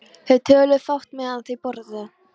Þeir töluðu fátt meðan þeir borðuðu.